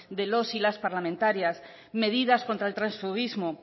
de los y las parlamentarias medidas contra el transfuguismo